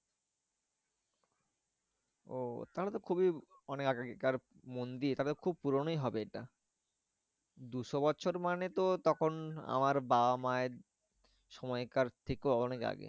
ও তাহলে তো খুবই অনেক আগেকার মন্দির তবে খুব পুরোনোই হবে এটা। দুশো বছর মানে তো তখন আমার বাবা মায়ের সময়কার থেকেও অনেক আগের।